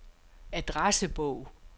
adressebog